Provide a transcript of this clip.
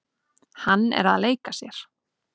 Hann er að leika sér.